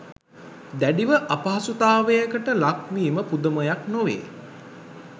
දැඩිව අපහසුතාවයකට ලක්වීම පුදුමයක් නොවේ